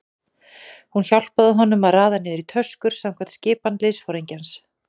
Hún hjálpaði honum að raða niður í tösku samkvæmt skipan liðsforingjans.